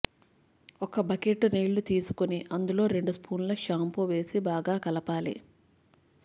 ఒక బకెట్టు నీళ్లు తీసుకొని అందులో రెండు స్పూన్ల షాంపూ వేసి బాగా కలపాలి